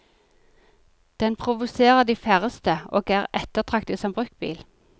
Den provoserer de færreste og er ettertraktet som bruktbil.